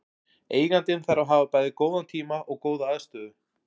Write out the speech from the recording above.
Eigandinn þarf að hafa bæði góðan tíma og góða aðstöðu.